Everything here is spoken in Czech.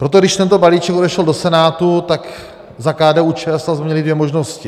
Proto když tento balíček odešel do Senátu, tak za KDU-ČSL jsme měli dvě možnosti.